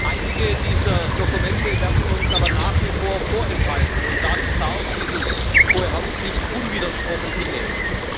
Einige dieser Dokumente werden uns aber nach wie vor vorenthalten, und das darf dieses Hohe Haus nicht unwidersprochen hinnehmen.